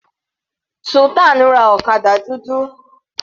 Sultan ra ọ̀kadà dúdú.